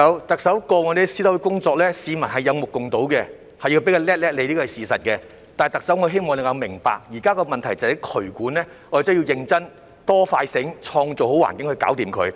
特首，過往你在私樓的工作，市民是有目共睹，要給你一個"叻叻"，這是事實，但特首我希望你能明白，現在的問題在渠管，要認真、"多、快、醒，創造好環境"去解決它。